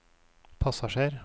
passasjer